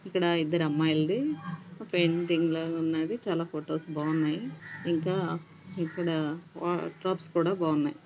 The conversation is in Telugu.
ఇక్కడ ఇద్దరమ్మాయిలిది పెయింటింగ్ లాగా ఉన్నది. చాలా ఫొటోస్ బాగున్నాయి. ఇంకా ఇక్కడ వా వార్డ్ రోబ్స్ కూడా బాగున్నాయ్.